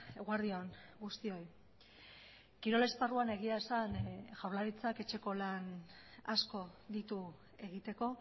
eguerdi on guztioi kirol esparruan egia esan jaurlaritzak etxeko lan asko ditu egiteko